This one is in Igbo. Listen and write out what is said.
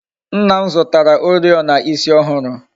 Nna m zụtara Oriọna ịsị ọhụrụ